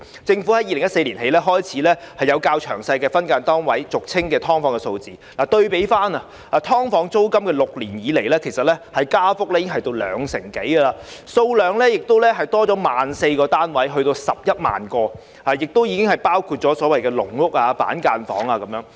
政府在2014年起，開始備存較詳細的分間單位的數字，對比過去6年，"劏房"租金加幅已有兩成多，單位數量亦增加 14,000 個至11萬個，當中包括所謂的"籠屋"、板間房。